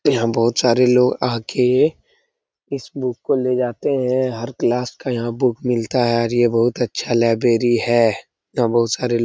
यहाँ बहुत सारे लोग आके इस बुक को ले जाते हैं हर क्लास का यहाँ बुक मिलता है और ये बहुत अच्छा लाइब्रेरी है यहाँ बहुत सारे लो--